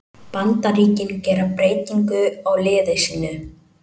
Bandaríkin gera breytingu á liði sínu